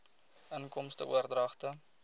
inkomste oordragte